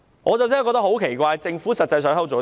我真的感到很奇怪，政府實際上在做甚麼？